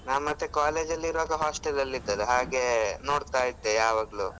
ನಾನ್ ಮತ್ತೆ college ಅಲ್ ಇರುವಾಗ hostel ಅಲ್ ಇದ್ದದು ಹಾಗೆ ನೋಡ್ತಾ ಇದ್ದೆ ಯಾವಾಗ್ಲು.